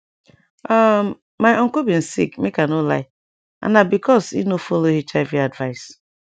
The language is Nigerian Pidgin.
um my uncle bin sick make i no lie and na because e no follow hiv advice